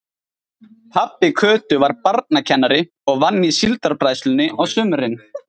Pabbi Kötu var barnakennari og vann í Síldarbræðslunni á sumrin.